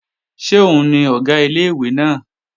Ṣé òun ni Ọ̀gá ilé-ìwé náà?